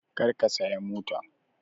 Kar ka saya mota!